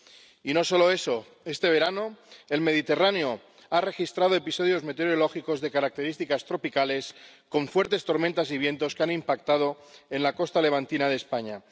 Y no solo eso este verano, el Mediterráneo ha registrado episodios meteorológicos de características tropicales con fuertes tormentas y vientos que han impactado en la costa levantina de España